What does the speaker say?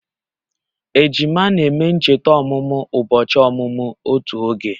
Ejima na-eme ncheta ọmụmụ ụbọchị ọmụmụ otu oge